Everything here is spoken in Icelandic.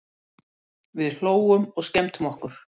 Við hlógum og skemmtum okkur.